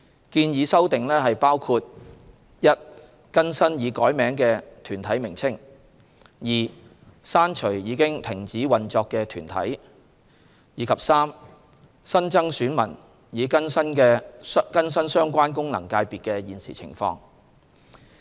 建議修訂包括：一、更新已改名的團體名稱；二、刪除已停止運作的團體；及三、新增選民以更新相關功能界別的現時情況。